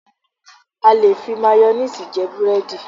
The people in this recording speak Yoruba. A lè fi máyónéèsì jẹ búrẹ́dì